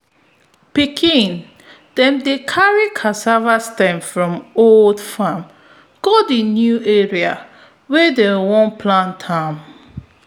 pikin dem dey carry cassava stems from old farm go di new area wey dem want plant am